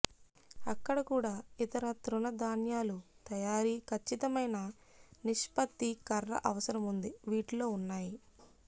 అక్కడ కూడా ఇతర తృణధాన్యాలు తయారీ ఖచ్చితమైన నిష్పత్తి కర్ర అవసరం ఉంది వీటిలో ఉన్నాయి